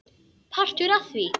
Partur af því?